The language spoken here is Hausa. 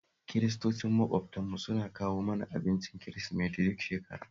Kiristocin maƙwabtanmu suna kawo mana abincin Kirisimeti duk shekara